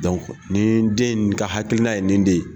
nin den in nin ka hakilina ye nin den ye